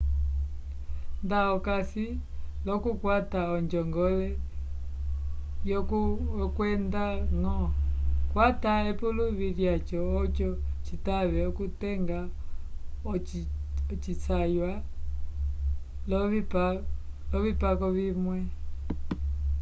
nda okasi l'okukwata onjongole yokwendañgo kwata epuluvi lyaco oco citave okutenga ocisangwa l'ovipako vimwe